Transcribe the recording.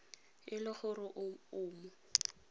e le gore o mo